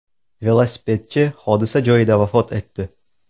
Velosipedchi hodisa joyida vafot etdi.